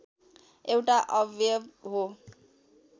एउटा अवयव हो